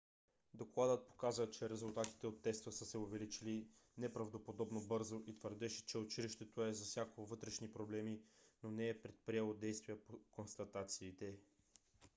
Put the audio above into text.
докладът показа че резултатите от теста са се увеличили неправдоподобно бързо и твърдеше че училището е засякло вътрешни проблеми но не е предприело действия по констатациите